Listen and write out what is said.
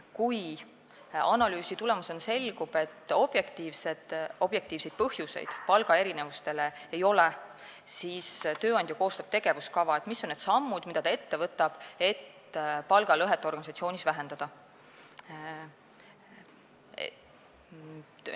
Kui analüüsi tulemusena selgub, et palgaerinevustel objektiivset põhjust ei ole, siis koostab tööandja tegevuskava, näidates ära, mis on need sammud, mida ta ette võtab, et palgalõhet organisatsioonis vähendada.